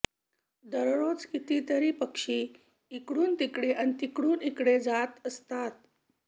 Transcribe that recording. दररोज कितीतरी पक्षी इकडून तिकडे आणि तिकडून इकडे जात असतात